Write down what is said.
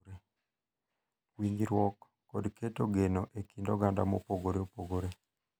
Winjruok, kod keto geno e kind oganda mopogore opogore,